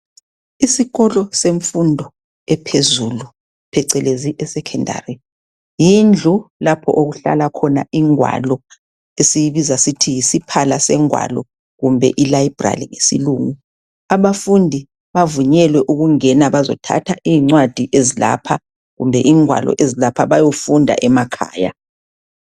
Isikolo semfundo ephezulu phecelezi esecondary. Yindlu lapho okuhlala khona ingwalo esiyibiza sithi yisiphala sengwalo kumbe ilibrary ngesilungu. Abafundi bavunyelwe ukungena bazothatha iyincwadi ezilapha kumbe ingwalo ezilapha bayofunda emakhaya.